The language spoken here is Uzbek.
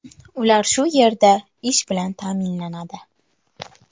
Ular shu yerda ish bilan ta’minlanadi.